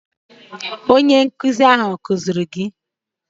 Onye nkụzi ha akụziri gi?